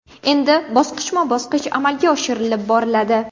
Endi bosqichma-bosqich amalga oshirilib boriladi.